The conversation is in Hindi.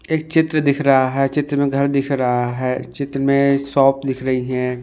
एक चित्र दिख रहा है चित्र में घर दिख रहा है चित्र में शॉप दिख रही है।